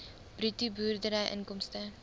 bruto boerderyinkomste